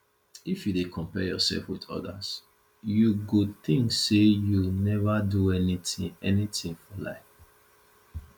if you dey compare yourself with odas you go think sey you neva do anything anything for life